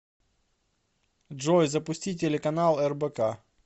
джой запусти телеканал рбк